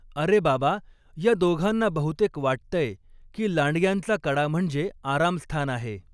अरे बाबा, या दोघांना बहुतेक वाटतंय की लांडग्यांचा कडा म्हणजे आरामस्थान आहे.